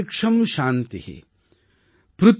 वनस्पतय शान्तिर्विश्र्वे देवा शान्तिर्ब्रह्म शान्ति